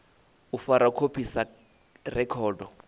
u fara khophi sa rekhodo